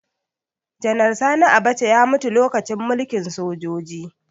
Janar Sani Abacha ya mutu lokacin mulkin sojoji